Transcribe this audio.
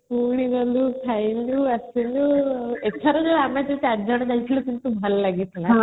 ପୁଣି ଗଲୁ ଖାଇଲୁ ଆସିଲୁ ଏଥର ଆମେ ଯୋଉ 4 ଜଣ ଯାଇଥିଲୁ କିନ୍ତୁ ଭଲ ଲାଗିଥିଲା|